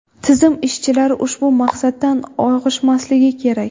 Tizim ishchilari ushbu maqsaddan og‘ishmasligi kerak.